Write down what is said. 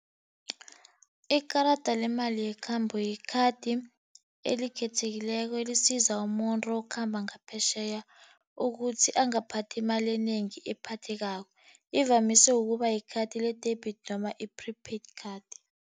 Ikarada lemali yekhambo yi-card elikhethekileko elisiza umuntu okhamba ngaphetjheya ukuthi angaphathi imali enengi ephathekako. Ivamise ukuba li-card le-debit noma i-prepaid card.